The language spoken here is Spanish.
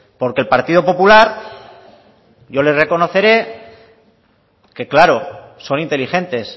porque el partido popular yo le reconoceré que claro son inteligentes